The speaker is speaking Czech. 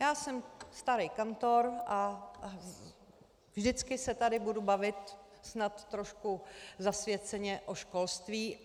Já jsem starý kantor a vždycky se tady budu bavit snad trošku zasvěceně o školství.